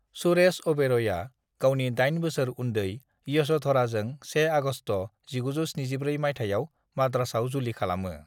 सुरेश ओबेरयआ गावनि दाइन बोसोर उन्दै यशोधराजों 1 आगस्ट' 1974 माइथायाव मद्रासआव जुलि खालामो।